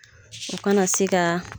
U kana se ka